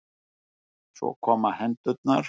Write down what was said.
Svo koma hendurnar.